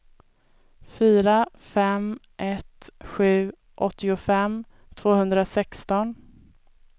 fyra fem ett sju åttiofem tvåhundrasexton